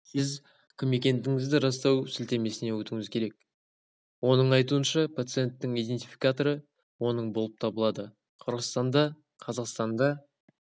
сіз кім екендігіңізді растау сілтемесіне өтуіңіз керек оның айтуынша пациенттің иденфикаторы оның болып табылады қырғызстанда қазақстанда